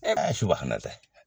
Ɛ subahanalaye.